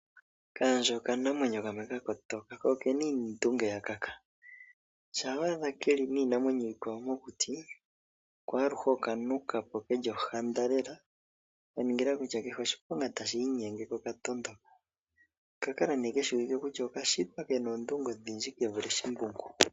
Okayandje okanamwenyo kamwe ka kotoka ko okena iindunge yimwe ya kaka, shampa wadha ke li niinamwenyo iikwawo mokuti ko aluhe oka nuka po ke li ohanda lela kaningila kutya kehe oshiponga tashi inyenge ko oka tondoka ,okakala keshiwike kutya okashitwa okena oondunge odhindji kevule shimbungu.